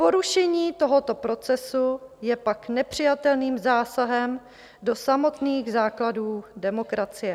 Porušení tohoto procesu je pak nepřijatelným zásahem do samotných základů demokracie.